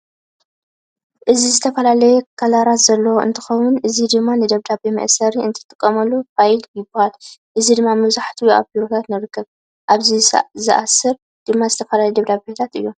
እዚ ዝተፈላለዩ ከለራት ዘለዎ እንትከውን እዚ ድማ ንደብዳቤ መእሰሪ እንጥቀመሉ ፋይል ይባሃል። እዚ ድማ መብዛሕትኡ ኣብ ቢሮታት ንረክቦ። ኣብዚ ዝእሰር ድማ ዝተፈላለዩ ደብዳቤታት እዮም።